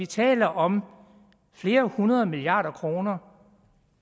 taler om flere hundrede milliarder kroner